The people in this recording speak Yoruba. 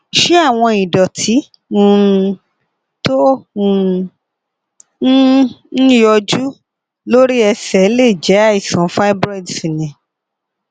ṣé àwọn ìdòtí um tó um ń ń yọjú lórí ẹsè lè jé àìsàn fibroids ni